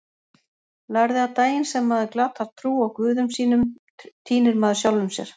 Lærði að daginn sem maður glatar trú á guðum sínum týnir maður sjálfum sér.